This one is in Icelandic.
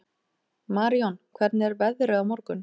Marijón, hvernig er veðrið á morgun?